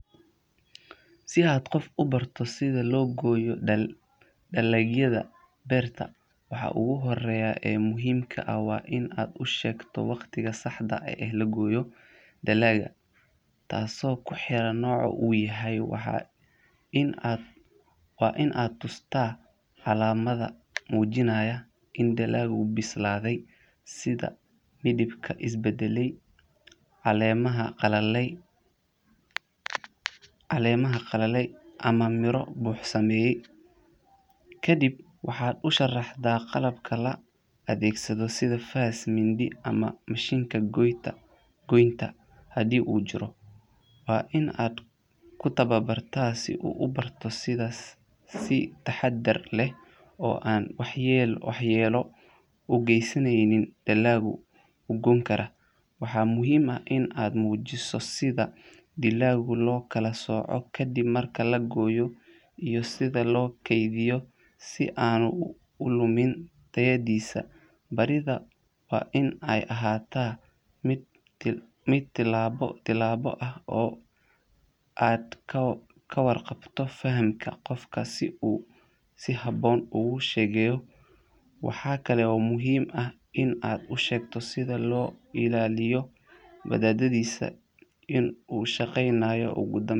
Si aad qof ubarto si lo goyo dalagyaada beerta waugu horeya ee muhiim ka ah waa in aad u shegto waqtiga saxda ah ee lagoyo dalaga tasi oo ku xiran noca, waa in aa tustaa calamaada mujinaya in dalagu bislaade sitha calemaha qalale ama miro u sumeye, waxaa ushegta waxa lagu goyo sitha faska, si an ulumin tayaadisa, waxaa kalo muhiim ah in aad ushegto wadadadhisa in u shaqeynaya ugu danben.